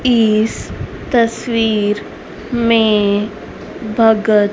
इस तस्वीर में भगत--